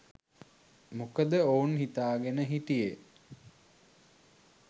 මොකද ඔවුන් හිතාගෙන හිටියේ